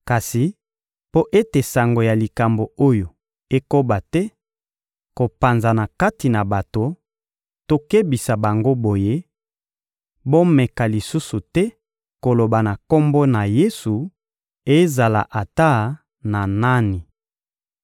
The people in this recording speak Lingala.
Kasi, mpo ete sango ya likambo oyo ekoba te kopanzana kati na bato, tokebisa bango boye: «Bomeka lisusu te koloba na Kombo na Yesu, ezala ata na nani!»